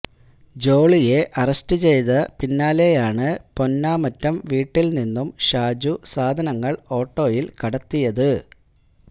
ജോളിയെ അറസ്റ്റ് ചെയ്ത പിന്നാലെയാണ് പൊന്നാമറ്റം വീട്ടില് നിന്നും ഷാജു സാധനങ്ങള് ഓട്ടോയില് കടത്തിയത്